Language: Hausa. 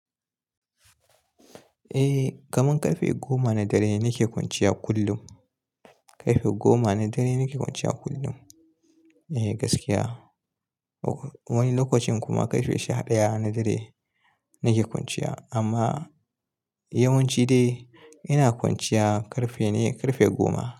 Eh, kaman karfe goma na dare nake kwanciya kullum. Karfe goma na dare nake kwanciya kullum. Eh gaskiya. Wani lokacin kuma karfe shadaya na dare nake kwanciya amma yawanci dai ina kwanciya karfe ne karfe goma.